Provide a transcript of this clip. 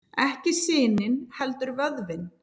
Ekki sinin heldur vöðvinn.